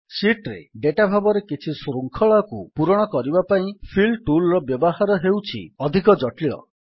sheet ରେ data ଭାବରେ କିଛି ଶୃଙ୍ଖଳାକୁ ପୂରଣ କରିବା ପାଇଁ ଫିଲ୍ Toolର ବ୍ୟବହାର ହେଉଛି ଅଧିକ ଜଟିଳ